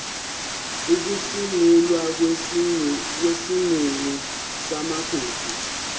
ukusungulwa kwesigungu samagugu